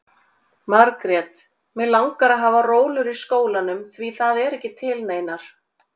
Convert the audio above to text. Margrét: Mig langar að hafa rólur í skólanum, því það eru ekki til neinar.